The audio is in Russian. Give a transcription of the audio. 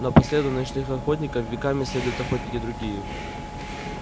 но по следу ночных охотников веками следуют охотники другие